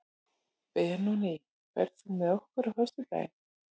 Benóní, ferð þú með okkur á föstudaginn?